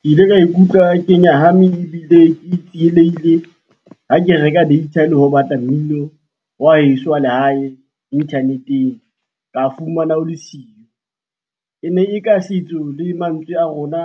Ke ile ka ikutlwa ke nyahame ebile ke tsielehile ha ke reka data le ho batla mmino wa heso wa lehae inthaneteng ka fumana o le siyo. E ne e ka setso le mantswe a rona